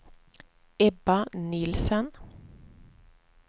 Ebba Nielsen